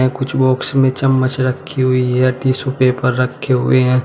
कुछ बॉक्स में चम्मच रखी हुई है टिशू पेपर रखे हुए हैं।